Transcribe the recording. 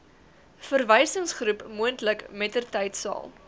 verwysingsgroep moontlik mettertydsal